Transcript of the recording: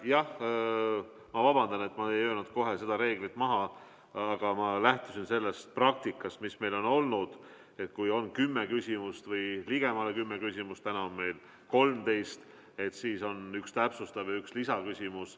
Jah, ma vabandan, et ma ei öelnud kohe seda reeglit, aga ma lähtusin sellest praktikast, mis meil on olnud, et kui on kümme või ligemale kümme küsimust – täna on meil neid 13 –, siis on üks täpsustav ja üks lisaküsimus.